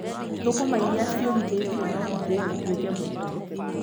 Thũkũma irĩa ciũmithĩtio no ithĩyo ituĩke mũtu.